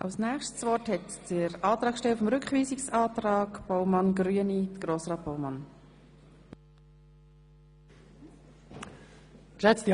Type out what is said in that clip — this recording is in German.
Als Nächster hat der Antragssteller des Rückweisungsantrags das Wort.